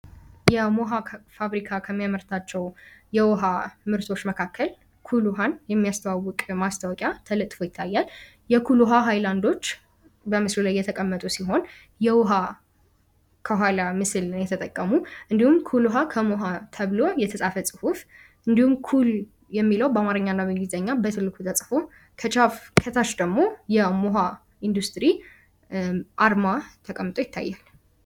የሞሃ ፋብሪካ ከሚያመርታቸውን የውሃ መጠጦች መካከል የኩል ውሃን የሚያስተዋውቅ ማስታወቂያ ተለጥፎ ይታያል የኩል ውሀ ሃይላዶች በትልቁ ላይ እየተቀመጡ ሲሆን የኩል ውሃ ከሞሃ የሚል ምስል ነው የተጠቀሙ ከኋላ እንዲሁም ኩል የሚለው በአማርኛና በእንግሊዝኛ ተጽፎ ከታች ደግሞ የሞሃ ኢንዱስትሪ አርማ ተቀምጦ ይታያል።